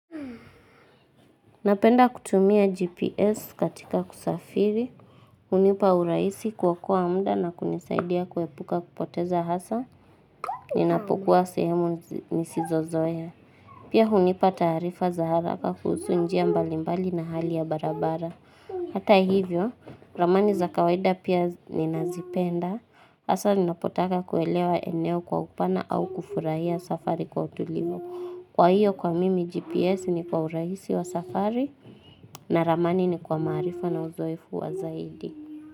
Napenda kutumia GPS katika kusafiri. Hunipa urahisi kuokoa muda na kunisaidia kuwepuka kupoteza hasa. Ninapukua sehemu nisizo zoya. Pia hunipa taarifa za haraka kuhusu njia mbalimbali na hali ya barabara. Hata hivyo, ramani za kawaida pia ninazipenda. Hasa ninapotaka kuelewa eneo kwa kupana au kufurahia safari kwa utulivo. Kwa hiyo kwa mimi GPS ni kwa urahisi wa safari na ramani ni kwa maarifa na uzoifu wa zaidi.